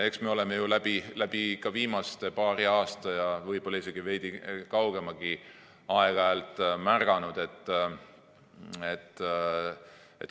Eks me oleme ju viimasel paaril aastal ja võib-olla isegi veidi kaugemalgi ajal seda aeg-ajalt märganud.